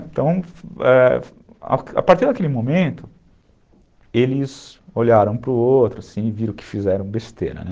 Então, é, a partir daquele momento, eles olharam para o outro, assim e viram que fizeram besteira, né?